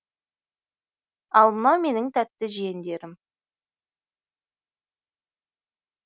ал мынау менің тәтті жиендерім